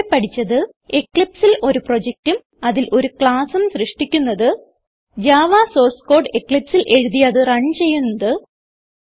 ഇവിടെ പഠിച്ചത് eclipseൽ ഒരു പ്രൊജക്റ്റും അതിൽ ഒരു classഉം സൃഷ്ടിക്കുന്നത് ജാവ സോർസ് കോഡ് eclipseൽ എഴുതി അത് റൺ ചെയ്യുന്നത്